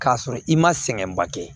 K'a sɔrɔ i ma sɛgɛnba kɛ